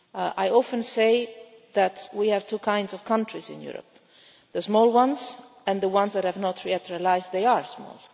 I often say that we have two kinds of countries in Europe the small ones and the ones that have not yet realised they are small.